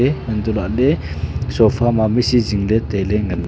antohlaley sofa mami si jingley tailey ngan--